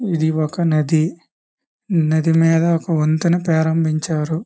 ఇది ఒక నది. నది మీద ఒక వంతెన ప్రారంభించారు.